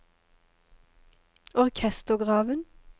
orkestergraven